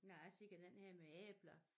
Nej se den her med æbler